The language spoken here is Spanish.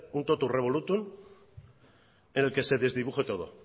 un tótum revolútum en el que se desdibuje todo